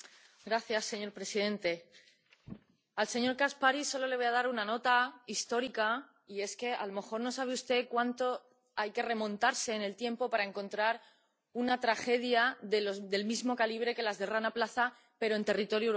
Señor presidente, al señor Caspary solo le voy a dar una nota histórica, y es que a lo mejor no sabe usted cuánto hay que remontarse en el tiempo para encontrar una tragedia del mismo calibre que la del Rana Plaza, pero en territorio europeo.